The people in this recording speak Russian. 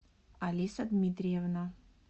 алиса дмитриевна